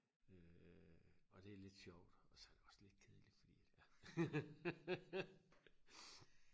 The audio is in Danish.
øh og det er lidt sjovt og så også lidt kedeligt fordi ja